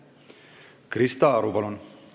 Krista Aru, palun!